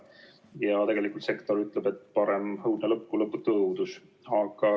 Ja tegelikult sektor ütleb, et parem õudne lõpp kui lõputu õudus.